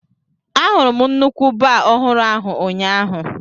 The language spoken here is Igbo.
Ahụrụ m nnukwu baa ọhụrụ ahụ ụnyaahụ.